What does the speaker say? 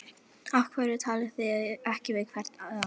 Af hverju talið þið ekki hvert við annað?